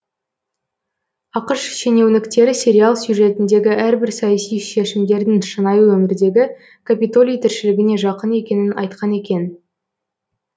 ақш шенеуніктері сериал сюжетіндегі әрбір саяси шешімдердің шынайы өмірдегі капитолий тіршілігіне жақын екенін айтқан екен